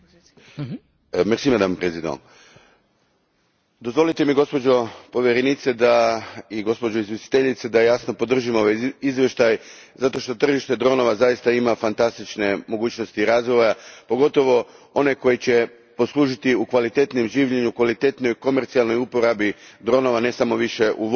Gospođo predsjednice, dozvolite mi gospođo povjerenice i gospođo izvjestiteljice da jasno podržim ovaj izvještaj zato što tržište dronova zaista ima fantastične mogućnosti razvoja, pogotovo one koje će poslužiti u kvalitetnijem življenju, u kvalitetnijoj komercijalnoj upotrebi dronova, ne samo više u vojnoj uporabi.